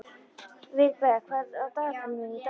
Vilberg, hvað er á dagatalinu mínu í dag?